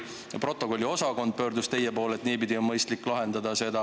Või kogunisti protokolliosakond pöördus teie poole, et niipidi on mõistlik seda lahendada?